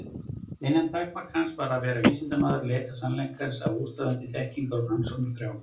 Eina takmark hans var að vera vísindamaður og leita sannleikans af óstöðvandi þekkingar- og rannsóknarþrá.